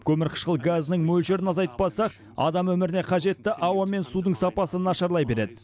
көмірқышқыл газының мөлшерін азайтпасақ адам өміріне қажетті ауа мен судың сапасы нашарлай береді